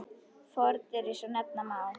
Fordyri svo nefna má.